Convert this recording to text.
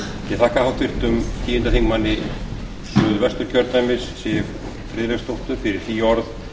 ég þakka háttvirtum tíundi þingmaður suðvesturkjördæmis siv friðleifsdóttur fyrir hlý orð